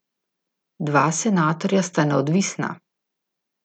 Dva senatorja sta neodvisna.